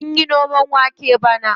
Sunyi noman wake bane.